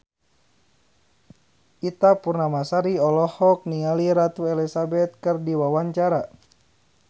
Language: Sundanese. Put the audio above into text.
Ita Purnamasari olohok ningali Ratu Elizabeth keur diwawancara